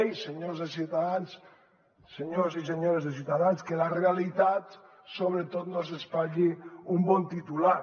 ei senyors de ciutadans senyors i senyores de ciutadans que la realitat sobretot no els espatlli un bon titular